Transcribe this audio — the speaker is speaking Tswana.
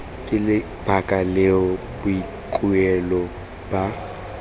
ke lebaka leo boikuelo ba